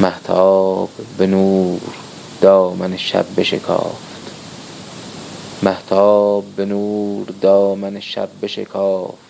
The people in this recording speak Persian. مهتاب به نور دامن شب بشکافت